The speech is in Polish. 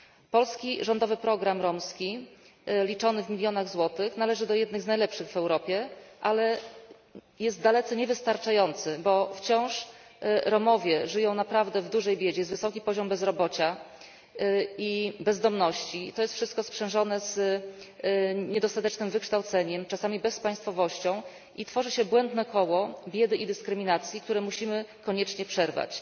Polski rządowy program romski liczony w milionach złotych należy do jednego z najlepszych w Europie, ale jest dalece niewystarczający, bo wciąż Romowie żyją naprawdę w dużej biedzie, jest wysoki poziom bezrobocia i bezdomności i to jest wszystko sprzężone z niedostatecznym wykształceniem, czasami bezpaństwowością, i tworzy się błędne koło biedy i dyskryminacji, które musimy koniecznie przerwać.